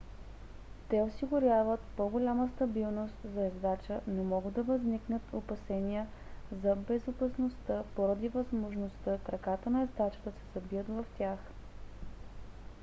те осигуряват по-голяма стабилност за ездача но могат да възникнат опасения за безопасността поради възможността краката на ездача да се забият в тях